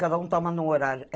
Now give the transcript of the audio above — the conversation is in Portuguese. Cada um toma em um horário.